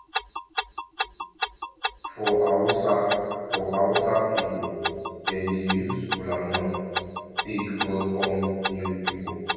for hausa for hausa pipol dem dey use kolanut take welkom new pipol